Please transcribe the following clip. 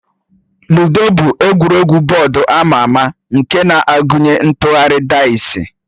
Lụdo bụ egwuregwu bọọdụ ama ama nke na-agụnye ịtụgharị daịsi